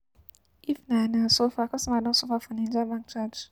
If na na suffer, customer don suffer for Naija bank charge.